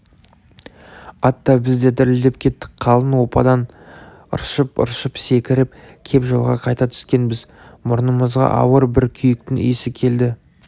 ат та біз де дірілдеп кеттік қалың оппадан ыршып-ыршып секіріп кеп жолға қайта түскенбіз мұрнымызға ауыр бір күйіктің иісі келді